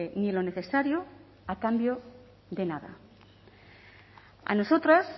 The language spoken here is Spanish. ni lo necesario a cambio de nada a nosotras